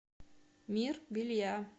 мир белья